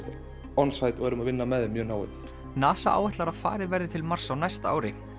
on site og erum að vinna með þeim mjög náið NASA áætlar að farið verði til Mars á næsta ári